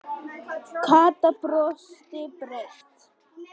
Kata brosti breitt.